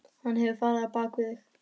Hann hefur farið á bak við þig.